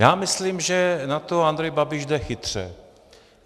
Já myslím, že na to Andrej Babiš jde chytře.